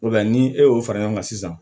ni e y'o fara ɲɔgɔn kan sisan